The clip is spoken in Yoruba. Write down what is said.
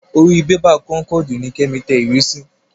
Orí bébà kónkọ̀dù ni Kẹ́mi tẹ ìwé sí.